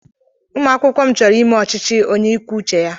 Ụmụ akwụkwọ m chọọrọ ime ọchịchị onye ikwu uche ya.